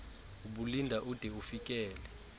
ubulinda ude ufikele